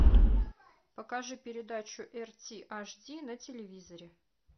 покажи передачу рт аш ди на телевизоре